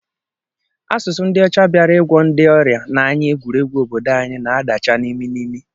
Asụsụ ndị ọcha bịara ịgwọ ndị ọrịa n'anya egwuregwu obodo anyị na-adacha n'imi n'imi